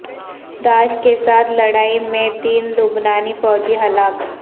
داعش کے ساتھ لڑائی میں تین لبنانی فوجی ہلاک